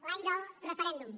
l’any del referèndum